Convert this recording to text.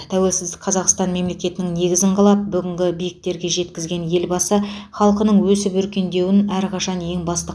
тәуелсіз қазақстан мемлекетінің негізін қалап бүгінгі биіктерге жеткізген елбасы халқының өсіп өркендеуін әрқашан ең басты